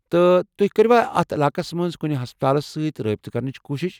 تہٕ تُہۍ كٕروا اتھ علاقس منز كُنہِ ہسپتالس سۭتۍ رٲبطہٕ كرنٕچ كوٗشِش ؟